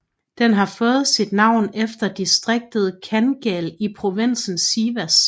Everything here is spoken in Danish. Den har fået sit navn efter distriktet Kangal i provinsen Sivas